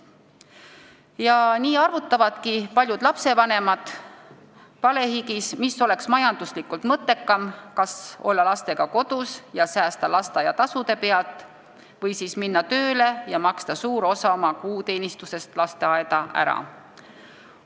Ja nii arvutavadki paljud lapsevanemad palehigis, mis oleks majanduslikult mõttekam: kas olla lastega kodus ja säästa lasteaiatasude pealt või minna tööle ja maksta suur osa kuuteenistusest lasteaeda ära.